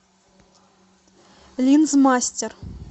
линзмастер